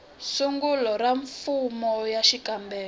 sungula ra fomo ya xikombelo